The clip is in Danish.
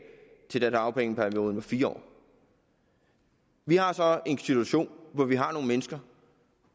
til da dagpengeperioden var fire år vi har så en situation hvor vi har nogle mennesker